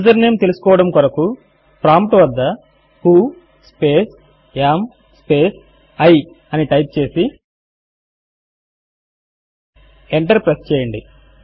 user name తెలుసుకోవడము కొరకు prompt వద్ద who space am space I అని టైప్ చేసి ఇచ్చి ఎంటర్ ప్రెస్ చేయండి